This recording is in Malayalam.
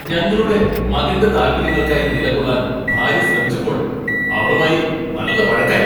ഞങ്ങളുടെ മകന്റെ താൽപ്പര്യങ്ങൾക്കായി നിലകൊള്ളാൻ ഭാര്യ ശ്രമിച്ചപ്പോൾ അവളുമായി നല്ല വഴക്കായി.